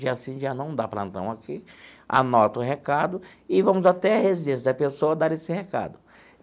dia sim, dia não, dar plantão aqui, anota o recado e vamos até a residência da pessoa dar esse recado.